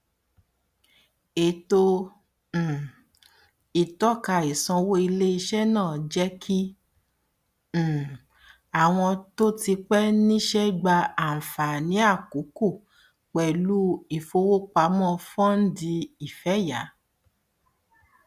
ètò um ìtọka ìsanwó iléiṣẹ náà jẹ kí um àwọn tó ti pé níṣẹ gba àǹfààní àkókò pẹlú ìfowópamọ fọndì ìfẹyà